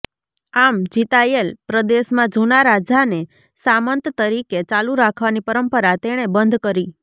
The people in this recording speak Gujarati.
આમ જીતાયેલ પ્રદેશમાં જૂનાં રાજાને સામંત તરીકે ચાલુ રાખવાની પરંપરા તેણે બંધ કરી